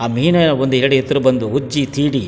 ಆ ಮೀನ್ ಒಂದೆಡೆ ಎತ್ರ ಬಂದು ಉಜ್ಜಿ ತೀಡಿ --